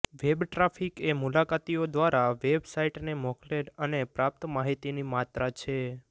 web traffic એ મુલાકાતીઓ દ્વારા વેબ સાઇટને મોકલેલ અને પ્રાપ્ત માહિતીની માત્રા છે